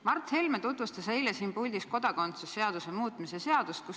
Mart Helme tutvustas üleeile siin puldis kodakondsuse seaduse muutmise seaduse eelnõu.